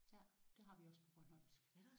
Ja det har vi også på bornholmsk